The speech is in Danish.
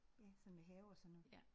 Ja sådan med have og sådan noget